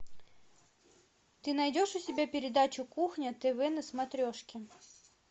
ты найдешь у себя передачу кухня тв на смотрешке